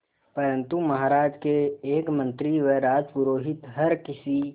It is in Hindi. परंतु महाराज के एक मंत्री व राजपुरोहित हर किसी